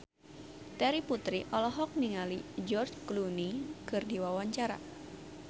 Terry Putri olohok ningali George Clooney keur diwawancara